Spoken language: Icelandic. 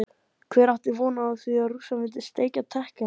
Hver átti von á því að Rússar myndu steikja Tékkana?